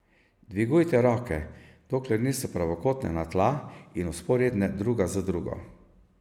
Dvigujte roke, dokler niso pravokotne na tla in vzporedne druga z drugo.